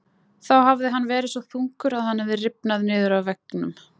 Þá hafði hann verið svo þungur að hann hafði rifnað niður af veggnum.